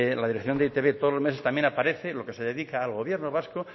la dirección de e i te be todos los meses también aparece lo que se dedica al gobierno vasco